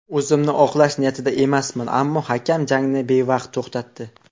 O‘zimni oqlash niyatida emasman, ammo hakam jangni bevaqt to‘xtatdi.